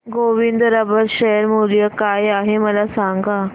Govind rubber share मूल्य काय आहे मला सांगा